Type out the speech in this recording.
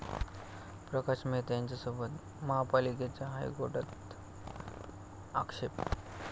प्रकाश मेहता यांच्याबाबत महापालिकेचा हायकोर्टात आक्षेप